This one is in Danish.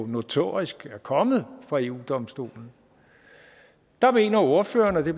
notorisk er kommet fra eu domstolen der mener ordførerne og det